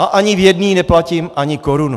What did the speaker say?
A ani v jedné neplatím ani korunu.